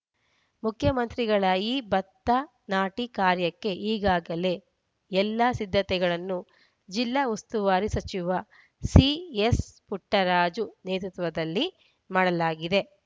ಮುಖ್ಯಮಂತ್ರಿಗಳ ಈ ಭತ್ತ ನಾಟಿ ಕಾರ್ಯಕ್ಕೆ ಈಗಾಗಲೇ ಎಲ್ಲಾ ಸಿದ್ಧತೆಗಳನ್ನು ಜಿಲ್ಲಾ ಉಸ್ತುವಾರಿ ಸಚಿವ ಸಿಎಸ್‌ಪುಟ್ಟರಾಜು ನೇತೃತ್ವದಲ್ಲಿ ಮಾಡಲಾಗಿದೆ